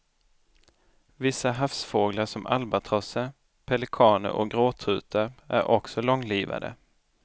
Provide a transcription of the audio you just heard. Vissa havsfåglar som albatrosser, pelikaner och gråtrutar är också långlivade.